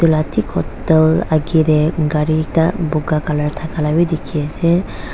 tik hotel agar dar kari ekta boga colour taglaa bhi dekhi ase.